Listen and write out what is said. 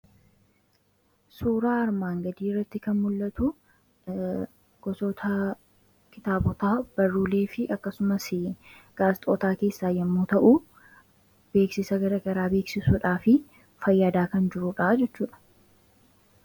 Suuraa armaan gadii irratti kan mul'atu gosoota kitaabotaa barruulee fi akkasumas gaazexootaa keessaa yommuu ta'u; Beeksisa garaa garaa beeksisuudhaa fi fayyaadaa kan jirudha jechuudha.